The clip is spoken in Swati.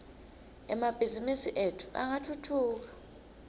emabhizimisi etfu angatfutfuka